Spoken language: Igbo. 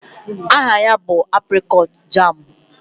Aha ya bụ aprịkọọt jaamụ.